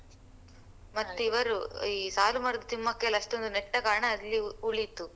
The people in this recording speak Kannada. ಮತ್ತೆ ಇವರು ಈ ಸಾಲು ಮರದ ತಿಮ್ಮಕ್ಕ ಎಲ್ಲ ಅಷ್ಟೊಂದು ನೆಟ್ಟ ಕಾರಣ ಅಲ್ಲಿ ಉಳೀತು.